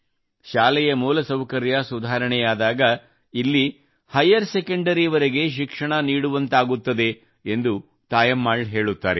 ಶಾಲೆಯ ಮೂಲಸೌಕರ್ಯ ಸುಧಾರಣೆಯಾದಾಗಇಲ್ಲಿ ಹೈಯರ್ ಸೆಕೆಂಡರಿವರೆಗೆ ಶಿಕ್ಷಣ ನೀಡುವಂತಾಗುತ್ತದೆ ಎಂದು ತಾಯಮ್ಮಾಳ್ ಹೇಳುತ್ತಾರೆ